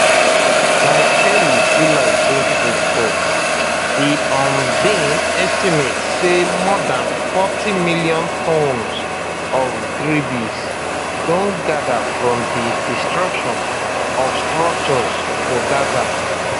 by early july 2024 di un bin estimate say more dan forty million tonnes of debris don gather from di destruction of structures for gaza